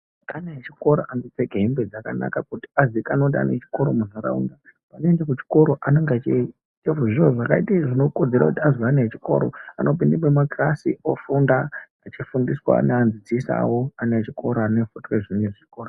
Ana echikora anopfeka hembe dzakanaka kuti azikanwe kuti ana echikoro munharaunda. Paanoenda kuchikoro anoita zviro zvinokodzera kuti ana echikoro kupinda mumakarasi, ofunda echifundiswawo naanodzidzisawo ana echikora.